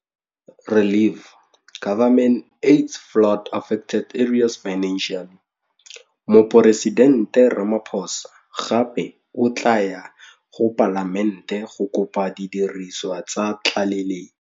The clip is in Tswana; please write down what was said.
Moporesidente Ramaphosa gape o tla ya go Palamente go kopa didiriswa tsa tlaleletso.